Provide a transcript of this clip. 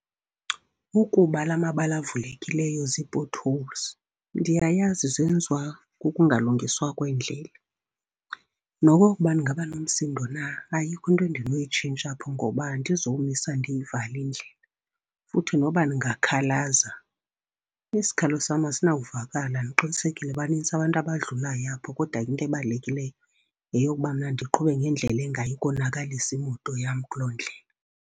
Ukuba la mabala avulekileyo zii-potholes, ndiyayazi zenziwa kukungalungiswa kweendlela. Nokokuba ndingaba nomsindo na ayikho into endinoyitshintsha ngoba andizomisa ndiyivale indlela. Futhi noba ndingakhalaza, isikhalo sam asinawuvakala ndiqinisekile banintsi abantu abadlulayo apho. Kodwa into ebalulekileyo yeyokuba mna ndiqhube ngendlela engayi konakalisa imoto yam kuloo ndlela.